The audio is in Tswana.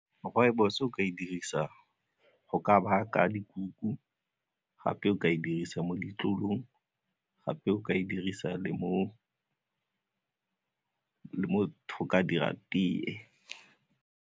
Rooibos o ka e dirisa go ka baka dikuku gape o ka e dirisa mo ditlolong gape o ka e dirisa le motho go ka dira tee.